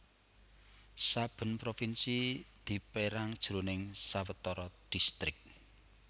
Saben provinsi dipérang jroning sawetara distrik